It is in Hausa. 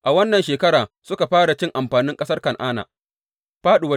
A wannan shekara suka fara cin amfanin ƙasar Kan’ana.